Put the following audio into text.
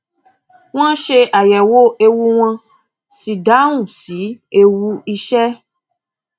wón ṣe àyẹwò ewu wón sì dáhùn sí ewu iṣẹ